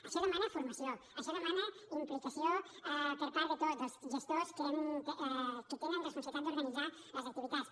això demana formació això demana implicació per part de tots dels gestors que tenen responsabilitat d’organitzar les activitats